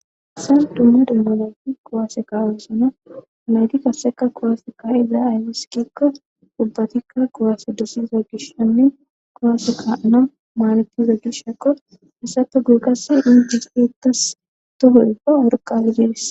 issan dumma demmanayti qowaase kaawosana nayti kaseka kowaase kahi daya ayfiskikka ubbatikka kowaase dossiza gishsonne kowase kaana maalatiza gishshekqo hassape gurgasi inges eettas toho ibba worqagides